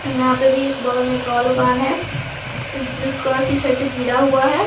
यहां पे भी एक बगल में एक और दुकान है जिसका कि शटर गिरा हुआ है।